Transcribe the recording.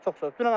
Çox sağ ol.